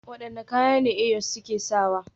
Wadanne kaya ne Eyos suke sawa?